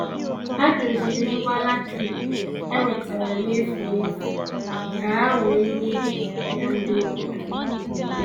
Ha doziri ngwa latrik e wetara n'efu n'efu ka ha wee nye ya ndị obodo